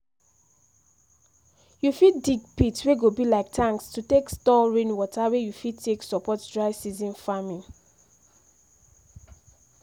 you fit dig pits wey go be like tanks to take store rain water wey you fit take support dry season farming